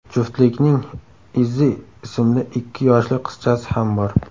Juftlikning Izzi ismli ikki yoshli qizchasi ham bor.